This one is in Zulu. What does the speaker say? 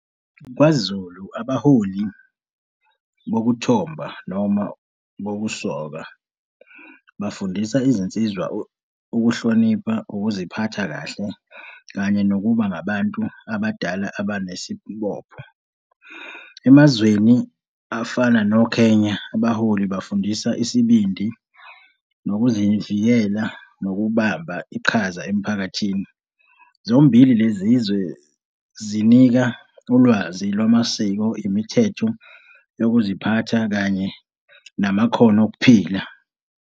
KwaZulu abaholi bokuthomba noma bokusoka bafundisa izinsizwa, ukuhlonipha, ukuziphatha kahle, kanye nokuba ngabantu abadala abanesibopho. Emazweni afana no-Kenya, abaholi bafundisa isibindi, nokuzivikela, nokubamba iqhaza emphakathini. Zombili lezizwe zinika ulwazi lwamasiko, imithetho yokuziphatha kanye namakhono okuphila.